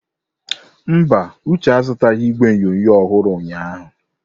Mba, Uche azụtaghị igwe onyonyo ọhụrụ ụnyahụ.